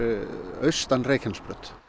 austan Reykjanesbraut